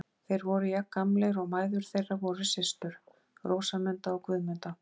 Þeir voru jafngamlir, og mæður þeirra voru systur: Rósamunda og Guðmunda.